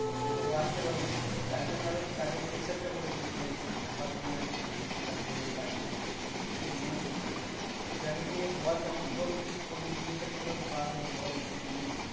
তো ও আসতে পারে নি। তার জন্য আরো কাজের pressure টা পরে গেছিল। তাই জন্য কিছু করার নেই আমি সেইদিনকে ছিলাম। নিয়ে কাজগুলো করছিলাম কিছু মনে করিস না ভাই। যাইহোক নিয়ে বল তাহলে কিভাবে কি করলি? বিয়েটা কিভাবে পার হলো বল একটু শুনি।